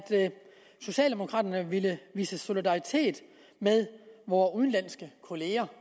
socialdemokraterne ville vise solidaritet med vore udenlandske kollegaer